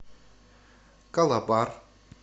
калабар